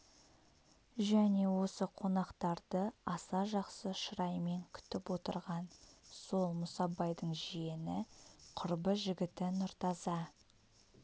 және осы қонақтарды аса жақсы шыраймен күтіп отырған сол мұсабайдың жиені құрбы жігіті нұртаза